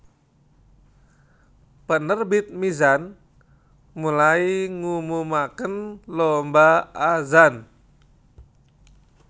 Penerbit Mizan mulai ngumumaken lomba azan